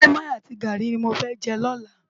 Mòimòi àti gári ni mó fè jè lòlá